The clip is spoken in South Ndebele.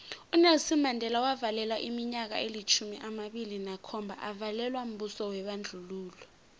unelson mandela wavalelwa iminyaka elitjhumi amabili nakhomba avalelwa mbuso webandlululo